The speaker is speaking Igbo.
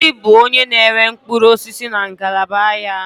Ngọzi bụ onye na-ere mkpụrụ osisi na ngalaba ahịa a.